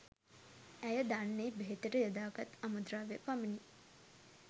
ඇය දන්නේ බෙහෙතට යොදා ගත් අමු ද්‍රව්‍ය පමණි